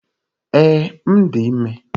Ee, m dị ime